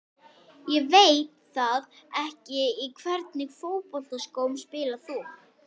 Ég veit það ekki Í hvernig fótboltaskóm spilar þú?